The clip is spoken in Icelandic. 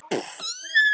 Geri sem minnst.